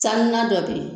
San na dɔ bɛ ye